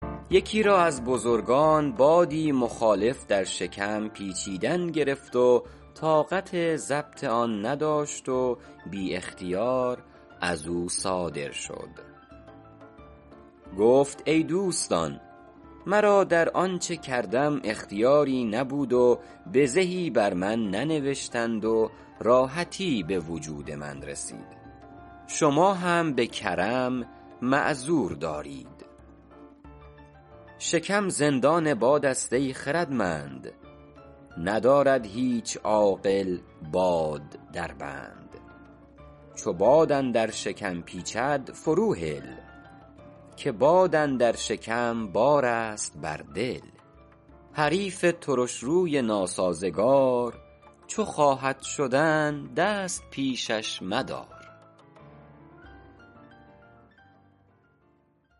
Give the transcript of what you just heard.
یکی را از بزرگان بادی مخالف در شکم پیچیدن گرفت و طاقت ضبط آن نداشت و بی اختیار از او صادر شد گفت ای دوستان مرا در آنچه کردم اختیاری نبود و بزهی بر من ننوشتند و راحتی به وجود من رسید شما هم به کرم معذور دارید شکم زندان باد است ای خردمند ندارد هیچ عاقل باد در بند چو باد اندر شکم پیچد فرو هل که باد اندر شکم بار است بر دل حریف ترشروی ناسازگار چو خواهد شدن دست پیشش مدار